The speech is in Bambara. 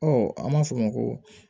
Ɔ an b'a fɔ o ma ko